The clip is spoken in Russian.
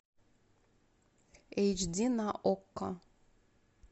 эйч ди на окко